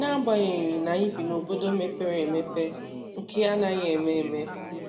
N'agbanyeghị n'anyị bi na obodo mepere emepe nke a anaghị eme eme.